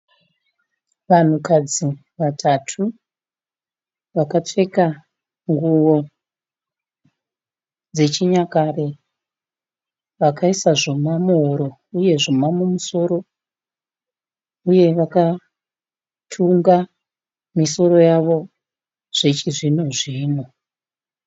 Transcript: Vanhukadzi vatatu, vakapfeka nguwo dzechinyakare, vakaisa zvuma muhuro, uye zvuma mumusoro, uye vakatunga misoro yavo zvechizvino-zvino.